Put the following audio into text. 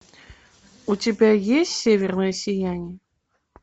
у тебя есть северное сияние